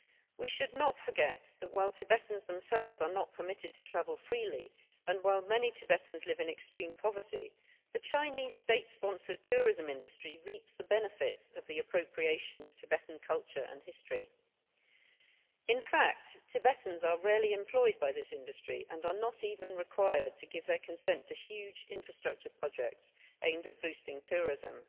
We should not forget that while Tibetans themselves are not permitted to travel freely and while many Tibetans live in extreme poverty, the Chinese state sponsored tourism industry reaps the benefits of the appropriation of Tibetan culture and history. In fact, Tibetans are rarely employed by this industry and are not even required to give their consent to huge infrastructure projects aimed at boosting tourism.